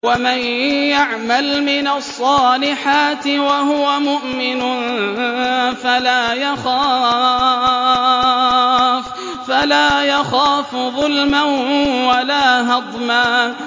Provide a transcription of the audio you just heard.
وَمَن يَعْمَلْ مِنَ الصَّالِحَاتِ وَهُوَ مُؤْمِنٌ فَلَا يَخَافُ ظُلْمًا وَلَا هَضْمًا